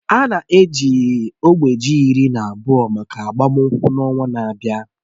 A na-eji ógbè ji iri na abụọ maka agbamakwụkwọ n'ọnwa na-abịa